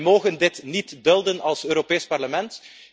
Wij mogen dit niet dulden als Europees Parlement.